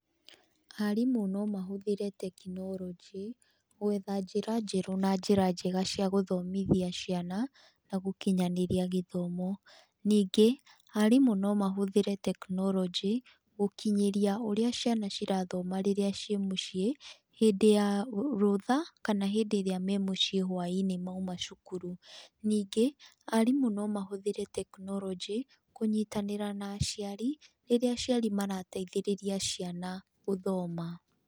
Arimũ no mahũthĩre tekinoronjĩ, gwetha njĩra njerũ na njĩra njega cia gũthomithia ciana, na gũkinyanĩria gĩthomo. Ningĩ, arimũ no mahũthĩre tekinoronjĩ, gũkinyĩria ũrĩa ciana cirathoma rĩrĩa ciĩ mũciĩ, hĩndĩ ya rũtha kana hĩndĩ ĩrĩa me mũciĩ hwainĩ mauma cukuru. Ningĩ arimũ no mahũthĩre tekinoronjĩ kũnyitanĩra na aciari, rĩrĩa aciari marateithĩrĩria ciana gũthoma.